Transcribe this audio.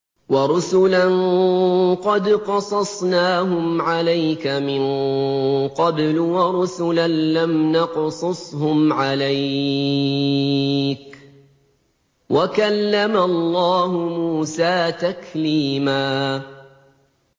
وَرُسُلًا قَدْ قَصَصْنَاهُمْ عَلَيْكَ مِن قَبْلُ وَرُسُلًا لَّمْ نَقْصُصْهُمْ عَلَيْكَ ۚ وَكَلَّمَ اللَّهُ مُوسَىٰ تَكْلِيمًا